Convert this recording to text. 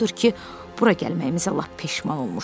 Odur ki, bura gəlməyimizə lap peşman olmuşdum.